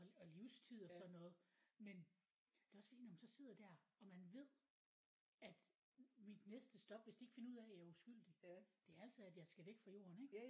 Og livstid og sådan noget men det også fordi når man så sidder der og man ved at mit næste stop hvis ikke de finder ud af at jeg er udskyldig det er altså at jeg skal væk fra jorden ikke